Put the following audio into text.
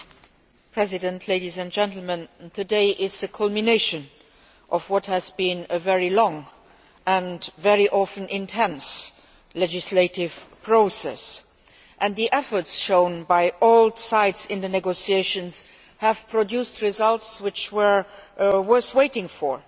Mr President, today is the culmination of what has been a very long, and very often intense, legislative process, and the efforts shown by all sides in the negotiations have produced results which were worth waiting for.